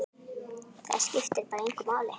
Það skiptir bara engu máli.